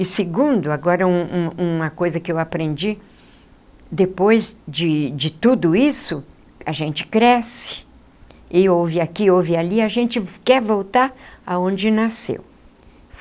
E segundo, agora um um uma coisa que eu aprendi, depois de de tudo isso, a gente cresce, e ouve aqui, ouve ali, a gente quer voltar aonde nasceu.